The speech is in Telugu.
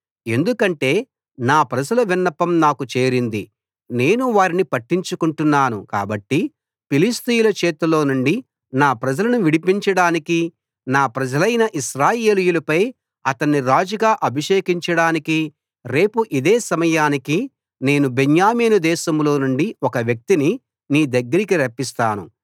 ఎందుకంటే నా ప్రజల విన్నపం నాకు చేరింది నేను వారిని పట్టించుకొంటున్నాను కాబట్టి ఫిలిష్తీయుల చేతిలోనుండి నా ప్రజలను విడిపించడానికి నా ప్రజలైన ఇశ్రాయేలీయులపై అతణ్ణి రాజుగా అభిషేకించడానికి రేపు ఇదే సమయానికి నేను బెన్యామీను దేశంలో నుండి ఒక వ్యక్తిని నీ దగ్గరికి రప్పిస్తాను